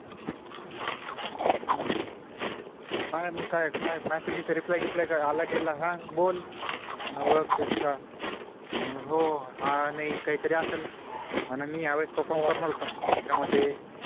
म्हणून म्हणतोय, पाय मग काय message vessage reply reply काय आला गेला हा बोल मला ओळखतेस का म्हणालं हो हा नई काई तरी असेल म्हणा मी या वेळेस perform करणार होतो याचा मधे